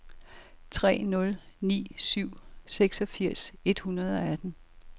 tre nul ni syv seksogfirs et hundrede og atten